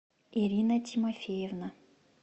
ирина тимофеевна